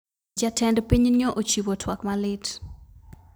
Jatend piny nyo ochiwo twak malit